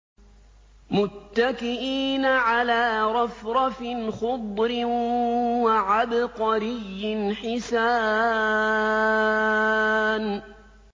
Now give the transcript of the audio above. مُتَّكِئِينَ عَلَىٰ رَفْرَفٍ خُضْرٍ وَعَبْقَرِيٍّ حِسَانٍ